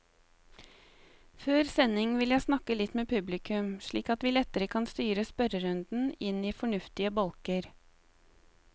Før sending vil jeg snakke litt med publikum, slik at vi lettere kan styre spørrerundene inn i fornuftige bolker.